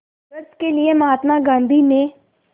संघर्ष के लिए महात्मा गांधी ने